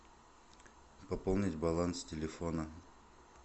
пополнить баланс телефона